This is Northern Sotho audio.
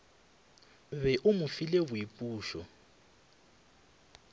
be o mo file boipušo